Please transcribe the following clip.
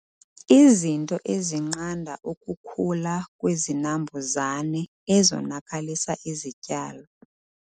Izinto ezinqanda ukukhula kwezinambuzane ezonakalisa izityalo